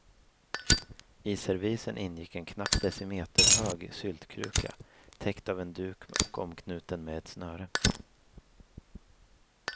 I servisen ingick en knappt decimeterhög syltkruka, täckt av en duk och omknuten med ett snöre.